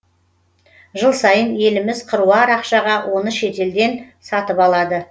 жыл сайын еліміз қыруар ақшаға оны шетелден сатып алады